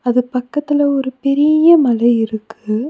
இது பக்கத்துல ஒரு பெரீய மலை இருக்கு.